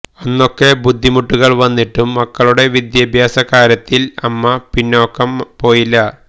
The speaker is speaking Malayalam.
അന്നൊക്കെ ബുദ്ധിമുട്ടുകള് വന്നിട്ടും മക്കളുടെ വിദ്യാഭ്യാസ കാര്യത്തില് അമ്മ പിന്നാക്കം പോയില്ല